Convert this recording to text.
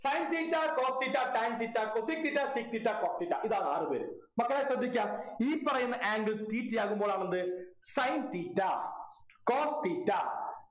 Sin theta cos theta tan theta cosec theta sec theta cot theta ഇതാണ് ആറുപേര് മക്കളെ ശ്രദ്ധിക്കാ ഈ പറയുന്ന angles theta ആകുമ്പോളാണ് എന്ത് sin theta cos theta